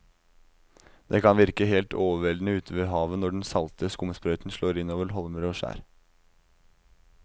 Det kan virke helt overveldende ute ved havet når den salte skumsprøyten slår innover holmer og skjær.